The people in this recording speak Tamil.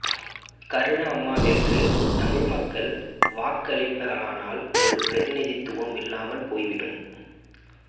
கருணா அம்மானிற்கு தமிழ் மக்கள் வாக்களிப்பார்களானால் ஒரு பிரதிநிதித்துவம் இல்லாமல் போய்விடும்